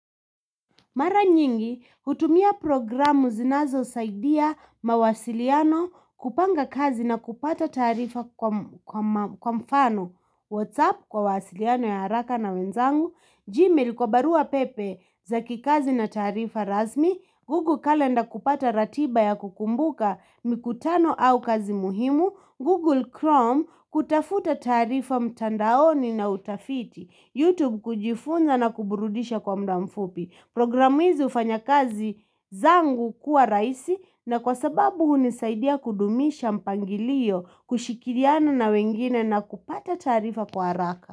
Mara nyingi, hutumia programu zinazo saidia mawasiliano kupanga kazi na kupata taarifa kwa mfano. WhatsApp kwa mawasiliano ya haraka na wenzangu. Gmail kwa barua pepe za kikazi na tarifa rasmi. Google Calendar kupata ratiba ya kukumbuka mikutano au kazi muhimu. Google Chrome kutafuta tarifa mtandaoni na utafiti. YouTube kujifunza na kuburudisha kwa mda mfupi. Programu hizi hufanya kazi zangu kuwa raisi na kwa sababu hunisaidia kudumisha mpangilio kushirikiana na wengine na kupata tarifa kwa haraka.